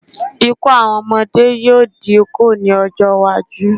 Ikú àwọn ọmọdé yóò dínkù ní ọjọ́-iwájú.